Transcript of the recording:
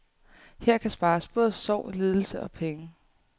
Her kan spares både sorg, lidelse og penge.